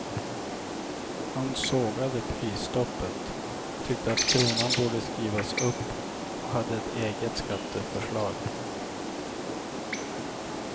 Han sågade prisstoppet, tyckte att kronan borde skrivas upp och hade ett eget skatteförslag.